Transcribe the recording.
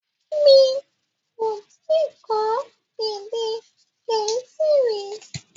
Mi ò tí ì kọ́ èdè Gẹ̀ẹ́sì rí.